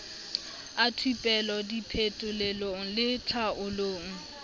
a thupelo diphetolelong le tlhaolong